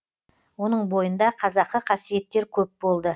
оның бойында қазақы қасиеттер көп болды